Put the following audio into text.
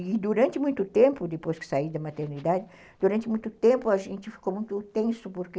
E durante muito tempo, depois que saí da maternidade, durante muito tempo a gente ficou muito tenso, porque...